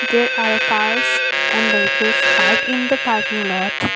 there are cars and vehicles parked in the parking lot.